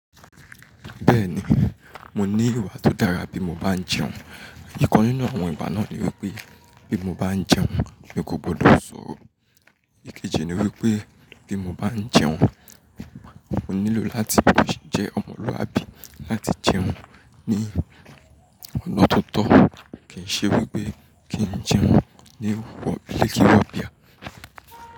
Bẹ́ẹ̀ni, mo ní ìwà tó dára bí mo bá ń jẹun. Ìkannú nínú àwọn ìwà náà ni wípé bí mo bá ń jẹun, mi kò gbọdọ̀ sọ̀rọ̀. Ìkéje ni wípé bí mo bá ń jẹun, mo nílò láti jẹ́ ọmọlúwàbí láti jẹun ní ọ̀na tó tọ́. Kì í ṣe wípé kì ń jẹun ní wó bilíkì wó bíà.